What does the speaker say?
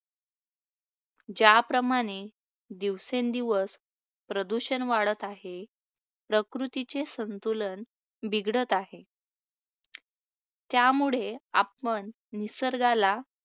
ज्याप्रकारे दिवसेंदिवस प्रदूषण वाढत आहे, प्रकृतीचे संतुलन बिघडत आहे. त्यामुळे आपण निसर्गाला